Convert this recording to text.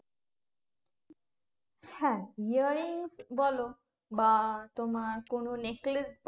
হ্যাঁ earrings বলো বা তোমার কোনো necklace